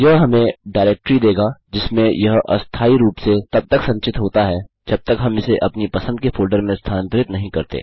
यह हमें डाईरेक्टारी देगा जिसमें यह अस्थायी रूप से तब तक संचित होता है जब तक हम इसे अपनी पसंद के फोल्डर में स्थानान्तरित नहीं करते